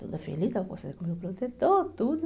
Toda feliz, estava conversando com o meu protetor, tudo.